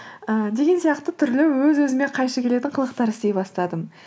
ыыы деген сияқты түрлі өз өзіме қайшы келетін қылықтар істей бастадым